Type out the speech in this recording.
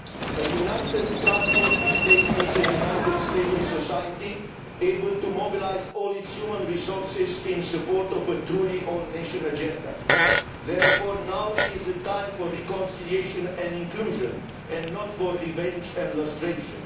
A united, trustworthy state needs a united, stable society able to mobilise all its human resources in support of a truly all nation agenda. Therefore now is the time for reconciliation and inclusion and not for revenge and lustration.